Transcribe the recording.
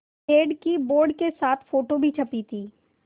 पेड़ की बोर्ड के साथ फ़ोटो भी छपी थी